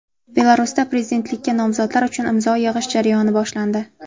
Belarusda prezidentlikka nomzodlar uchun imzo yig‘ish jarayoni boshlandi.